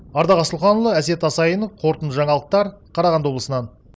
ардақ асылханұлы әсет асайынов қорытынды жаңалықтар қарағанды облысынан